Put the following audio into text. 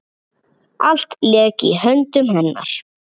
Allt lék í höndum hennar.